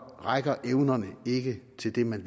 rækker evnerne ikke til det man